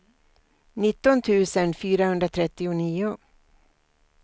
nitton tusen fyrahundratrettionio